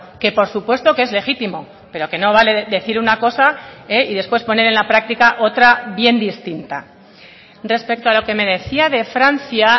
que por supuesto que es legítimo pero que no vale decir una cosa y después poner en la práctica otra bien distinta respecto a lo que me decía de francia